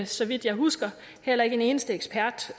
så vidt jeg husker heller ikke en eneste ekspert